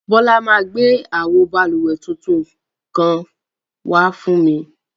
Bola ma gbẹ awo bálúwẹ̀ tuntun kan wà fún mi.